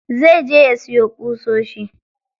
Zai je ya siyo ƙusoshi.